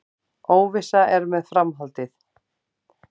Óvissa er með framhaldið